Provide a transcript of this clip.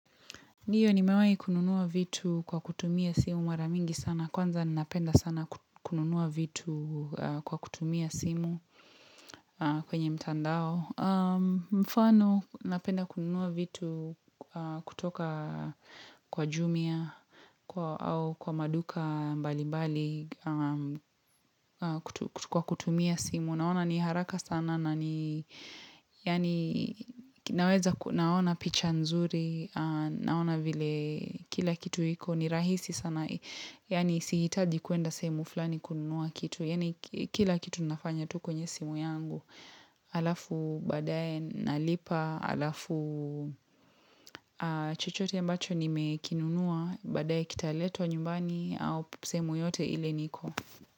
Ndio nimewahi kununua vitu kwa kutumia simu mara mingi sana. Kwanza ninapenda sana kununua vitu kwa kutumia simu kwenye mtandao. Mfano, napenda kununua vitu kutoka kwa jumia au kwa maduka mbalimbali kwa kutumia simu. Unaona ni haraka sana na ni Yaani Naweza naona picha nzuri Naona vile Kila kitu iko ni rahisi sana Yaani sihitaji kuenda sehemu fulani kununua kitu Yaani kila kitu nafanya tu kwenye simu yangu Alafu baadaye Nalipa Alafu chochote ambacho Nimekinunua baadaye Kitaletwa nyumbani au sehemu yoyote ile niko.